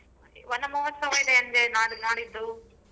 ವನಮಹೋತ್ಸವ ಇದೆ ಅಂದೆ ನಾಡ~ ನಾಡಿದ್ದು.